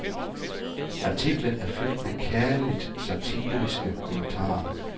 Artiklen er fyldt med kærligt satiriske kommentarer.